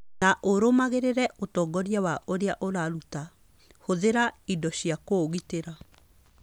Na ũrũmagĩrĩre ũtongoria wa ũrĩa ũraruta. Hũthĩra indo cia kũũgitĩra.